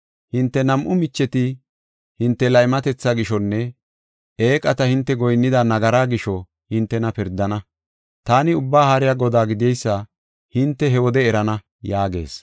Hinte nam7u micheti hinte laymatetha gishonne eeqata hinte goyinnida nagaraa gisho hintena pirdana. Taani Ubbaa Haariya Godaa gideysa hinte he wode erana” yaagees.